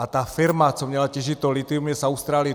A ta firma, co měla těžit to lithium, je z Austrálie.